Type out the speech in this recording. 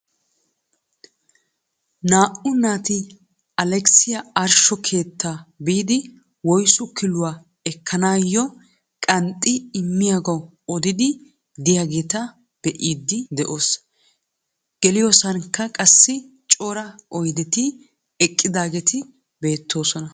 Naa"u naati Alekisiyaa ashsho keettaa biidi woyssu killuwaa ekkanayoo qanxxi immiyaagaw odiidi de'iyaageta be'iidi de'oos. Geliyoosankka qassi cora oydeti eqqidaageti beettoosna.